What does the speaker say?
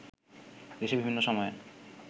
দেশে বিভিন্ন সময়ে